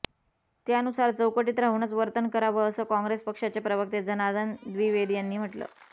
त्यानुसार चौकटीत राहूनच वर्तन करावं असं काँग्रेस पक्षाचे प्रवक्ते जनार्दन द्विवेदी यांनी म्हटलं